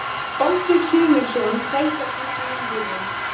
Baldur Sigurðsson Sætasti sigurinn?